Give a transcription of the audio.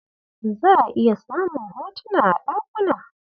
Za'a iya samun hotuna a ɗakuna.